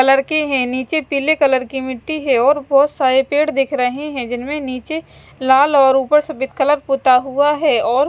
colour के है और नीचे पीले कलर की मिट्टी है और बहोत सारे पेड़ दिख रहे है जिनमे नीचे लाल और उपर सफेद कलर पुता हुआ है और --